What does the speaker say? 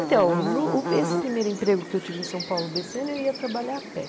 Então, no esse primeiro emprego que eu tive em São Paulo, o bê cê êne, eu ia trabalhar a pé.